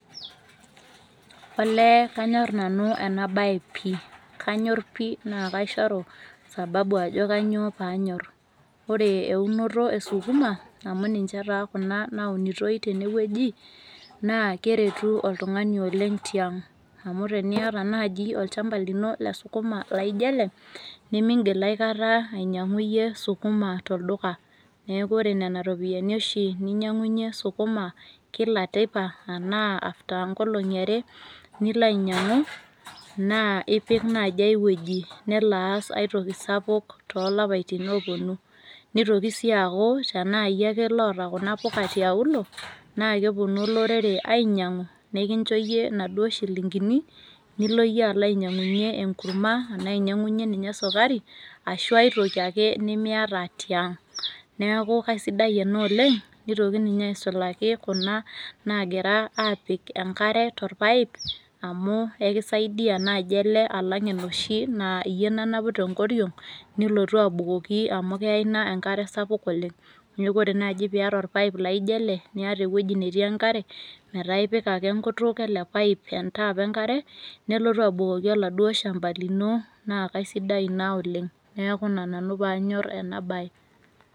Olee kanyor nau eena baye pii, kanyor pii naa kaishoru sababu aajo kanyoo peyie anyor. Oore eunoto e sukuma amuu ninche taa kuuna naunitoi teene wueji, naa keretu oltung'ani oleng tiang' amuu teniata taata iyie olduka le sukuma laijo eele nemiigil iyie einyiang'u sukuma tolduka. Niaku oore nena ropiyiani oshi iyie ninyiang'unyie sukma kila teipa arashu after two days, naa ipik naji ae wueji nelo aas aae toki sapuk, tolapaitin oponu. Neitoki sii aaku tenaa iyie aake oota kuna puka tiuluo naa keponu olorere ainyiang'u nekincho iyie inaduo shilingini, nilo iyie alo ainyiang'unyie enkurma enaa inyiang'unyie ninye sukari, arashu ae toki ake nemiata iyie tiang'.Niaku kaisidai eena oleng neitoki ninye aisulaki kuna nagirae aapik enkare torpipe amuu enkiisaidia naaji eele alang enoshi naa iyie nanapu tenkoriong' nilotu abukoki amuu keeya iina enkare sapuk oleng. Niaku oore naaji peyie iata orpipe laijo eele niata ewueji netii enkare, metaa ipik aake enkut eele pipe enkutuk entap iino nelotu abukoki oladuo shamba lino naa kaisidai iina oleng. Niaku iina nanu peyie anyor eena baye.